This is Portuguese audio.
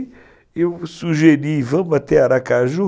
Aí eu sugeri, vamos até Aracaju.